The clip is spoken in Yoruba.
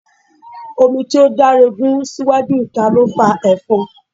Omi tí ó daregun sí iwájú ìta ló fa efon.